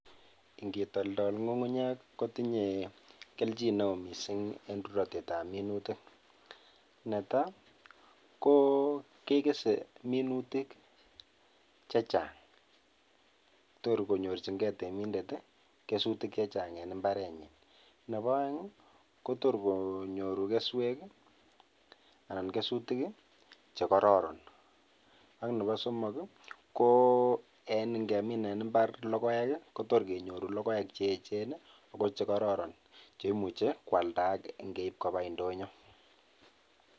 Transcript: Ingiip toltol ngungunyeek ii kotinyei keljiin ne wooh missing en ruratet ab minutiik ,netai ko kesei minutiik chechaang che toor konyorjingei temindet ii kuseuek anan kesutiik chechaang en mbaret nyiin nebo aeng ii kotoor konyoruu kesweek ii anan kesutiik ii chekororon ak nebo somok ii ko en ingemiin en mbar logoek ii kotoor kenyoruu logoek che eecheen ako che kororon chekimuchei ii koaldaaag ngeib kobaa ndonyoo.